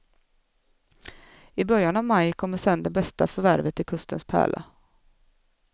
I början av maj kommer sedan det bästa förvärvet till kustens pärla.